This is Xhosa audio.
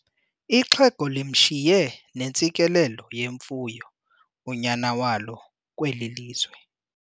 Ixhego limshiye nentsikelelo yemfuyo unyana walo kweli lizwe.